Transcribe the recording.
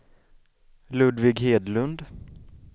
Ludvig Hedlund